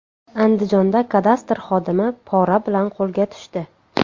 Andijonda kadastr xodimi pora bilan qo‘lga tushdi.